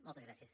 moltes gràcies